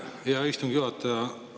Aitäh, hea istungi juhataja!